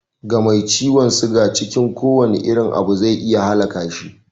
Ga mai ciwon suga, cikin kowane irin abu zai iya halaka shi